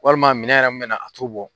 Walima minɛ yɛrɛ min bɛna a t'o bɔ.